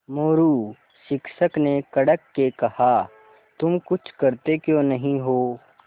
मोरू शिक्षक ने कड़क के कहा तुम कुछ करते क्यों नहीं हो